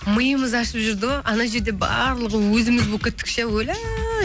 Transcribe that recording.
миымыз ашып жүрді ғой анау жерде барлығы өзіміз болып кеттік ше өлә